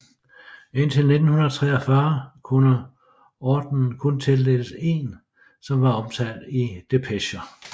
Indtil 1943 kunne ordenen kun tildeles en som var omtalt i depecher